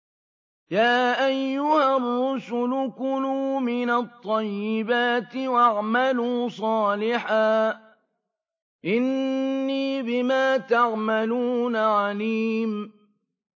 يَا أَيُّهَا الرُّسُلُ كُلُوا مِنَ الطَّيِّبَاتِ وَاعْمَلُوا صَالِحًا ۖ إِنِّي بِمَا تَعْمَلُونَ عَلِيمٌ